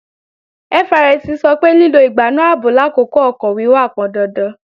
FRSC sọ pé lílo ìgbánú ààbò làkókò ọkọ̀ wíwà pọndandan